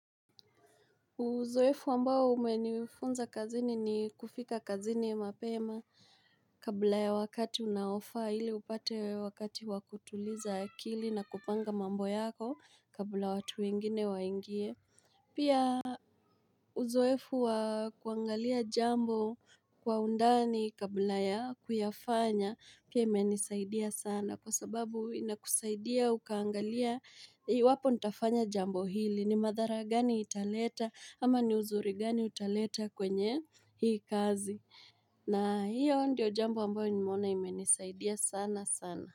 Uzoefu ambao umenifunza kazini ni kufika kazini mapema Kabla ya wakati unaofaa ili upate wakati wa kutuliza akili na kupanga mambo yako kabla watu wengine waingie Kabla ya wakati unaofaa ili upate wakati wa kutuliza akili na kupanga mambo yako kabla watu wengine waingie iwapo nitafanya jambo hili ni madhara gani italeta ama ni uzuri gani utaleta kwenye hii kazi na hiyo ndiyo jambo ambayo nimeona imenisaidia sana sana.